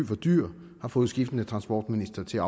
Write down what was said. for dyr har fået skiftende transportministre til at